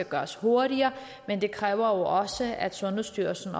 gøres hurtigere men det kræver jo også at sundhedsstyrelsen